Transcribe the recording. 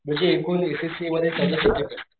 म्हणजे एकूण S S C A मध्ये चौदा सबजेक्ट असतात,